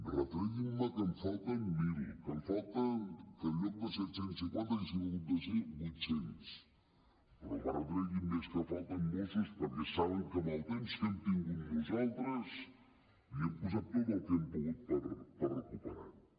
retreguin me que en falten mil que en lloc de set cents i cinquanta haurien hagut de ser vuit cents però no me retreguin més que falten mossos perquè saben que amb el temps que hem tingut nosaltres hi hem posat tot el que hem pogut per recuperar ho